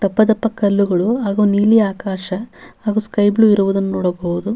ಎಷ್ಟ್ ಅತ್ರ ಇದ್ರು ನೋಡಕು ಆಗ್ಲಿಲ್ಲ ಹೋಗಕೂ ಆಗ್ಲಿಲ್ಲ ನಮ್ಗೆ --